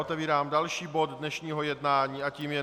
Otevírám další bod dnešního jednání a tím je